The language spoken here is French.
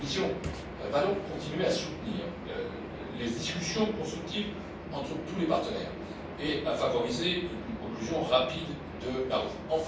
la Grèce. La Commission va donc continuer à soutenir les discussions constructives entre tous les partenaires et à favoriser une conclusion rapide du